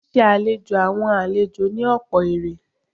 Ṣíṣe àlejò àwọn àlejò ní ọ̀pọ̀ èrè.